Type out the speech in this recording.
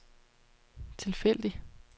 tilfældig